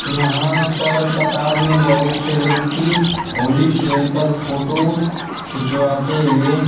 यहां पर कतार में बहुत से व्यक्ति होली खेल कर फोटो खिंचवाते हुए--